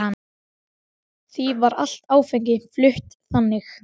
Því var allt áfengi flutt þannig.